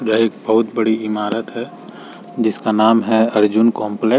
यह एक बहुत बड़ी इमारत है जिसका नाम है अर्जुन कॉम्प्ले --